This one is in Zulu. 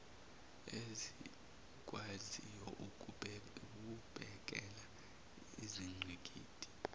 ezikwaziyo ukubhekela izingqikithi